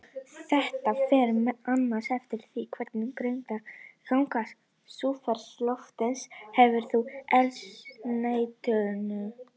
Þetta fer meðal annars eftir því hversu greiðan aðgang súrefni loftsins hefur að eldsneytinu.